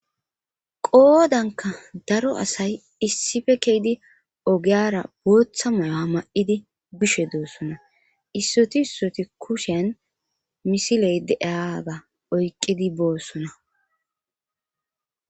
qoodanka daro asay issife keydi ogeyara booththa mayoa ma7idi bishe doossona issoti issoti kushen misiley deeaga oyqqidi boossona